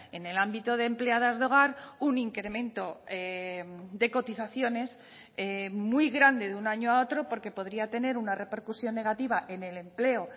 en el ámbito de empleadas de hogar un incremento de cotizaciones muy grande de un año a otro porque podría tener una repercusión negativa en el empleo